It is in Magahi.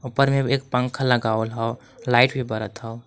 ऊपर में एक पंखा लगावल हौ लाइट भी बरत हौ।